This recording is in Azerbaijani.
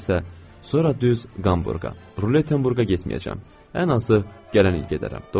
Sonra düz Qamburqa, rulet Qamburqa getməyəcəm, ən azı gələn il gedərəm.